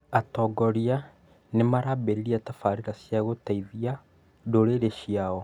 Atongoria nĩmarambĩrĩria tabarĩra cia gũteithia ndũrĩrĩ ciao